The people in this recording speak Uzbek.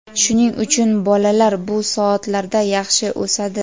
shuning uchun bolalar bu soatlarda yaxshi o‘sadi.